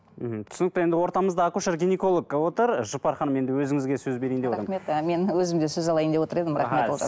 мхм түсінікті енді ортамызда акушер гинеколог отыр жұпар ханым енді өзіңізге сөз берейін деп отырмын рахмет мен өзім сөз алайын деп отыр едім